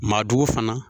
Maa jugu fana